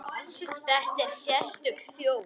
Þetta er sérstök þjóð.